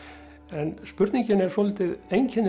en spurningin er svolítið einkennileg